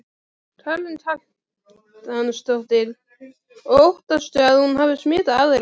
Karen Kjartansdóttir: Og óttastu að hún hafi smitað aðra?